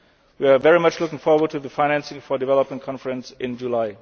banks. We are very much looking forward to the financing for development conference